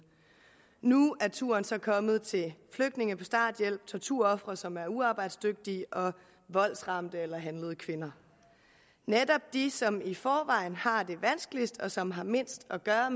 nu er turen så kommet til flygtninge på starthjælp torturofre som er uarbejdsdygtige og voldsramte eller handlede kvinder netop de som i forvejen har det vanskeligst og som har mindst at gøre